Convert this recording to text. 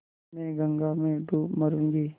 मैं गंगा में डूब मरुँगी